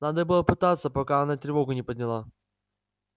надо было пытаться пока она тревогу не подняла